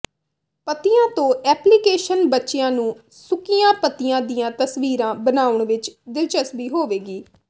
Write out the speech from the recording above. ਪੱਤੀਆਂ ਤੋਂ ਐਪਲੀਕੇਸ਼ਨ ਬੱਚਿਆਂ ਨੂੰ ਸੁੱਕੀਆਂ ਪੱਤੀਆਂ ਦੀਆਂ ਤਸਵੀਰਾਂ ਬਣਾਉਣ ਵਿਚ ਦਿਲਚਸਪੀ ਹੋਵੇਗੀ